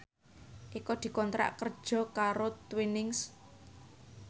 Eko dikontrak kerja karo Twinings